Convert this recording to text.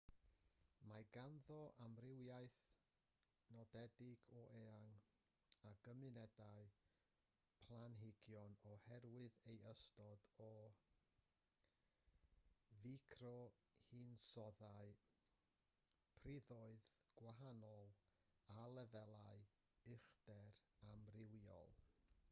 mae ganddo amrywiaeth nodedig o eang o gymunedau planhigion oherwydd ei ystod o ficrohinsoddau priddoedd gwahanol a lefelau uchder amrywiol